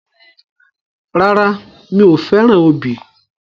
Rárá, mi ò fẹ́ràn obì.